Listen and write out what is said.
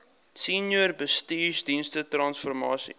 senior bestuursdienste transformasie